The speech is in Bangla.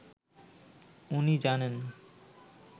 ওনি জানান